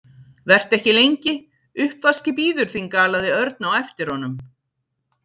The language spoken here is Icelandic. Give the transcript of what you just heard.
Vertu ekki lengi, uppvaskið bíður þín galaði Örn á eftir honum.